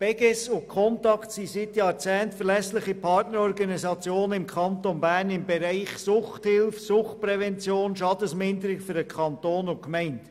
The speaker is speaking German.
Die Beges und die die Stiftung Contact sind seit Jahrzehnten verlässliche Partnerorganisationen im Kanton Bern im Bereich der Suchthilfe, der Suchtprävention und der Schadensminderung für den Kanton und die Gemeinden.